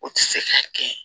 O tɛ se ka kɛ